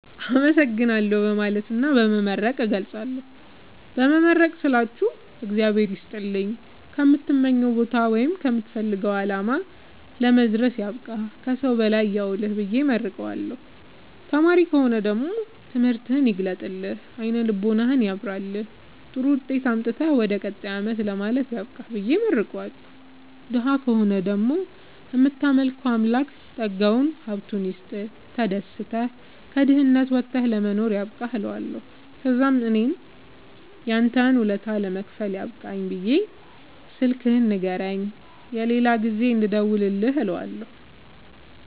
አመሠግናለሁ በማለትና በመመረቅ እገልፃለሁ። በመመረቅ ስላችሁ እግዚአብሄር ይስጥልኝ ከምትመኘዉ ቦታወይም ከምትፈልገዉ አላማ ለመድረስያብቃህ ከሠዉ በላይ ያዉልህብየ እመርቀዋለሁ። ተማሪ ከሆነ ደግሞ ትምህርትህን ይግለጥልህ አይነ ልቦናህን ያብራልህ ጥሩዉጤት አምጥተህ ወደ ቀጣይ አመት ለማለፍ ያብቃህ ብየ እመርቀዋለሁ። ደሀ ከሆነ ደግሞ እምታመልከዉ አምላክ ጠጋዉን ሀብቱይስጥህ ተደስተህ ከድህነት ወተህ ለመኖር ያብቃህእለዋለሁ። ተዛምእኔም ያንተን ወለታ ለመክፈል ያብቃኝ ብየ ስልክህን ንገረኝ የሌላ ጊዜ እንድደዉልልህ እለዋለሁ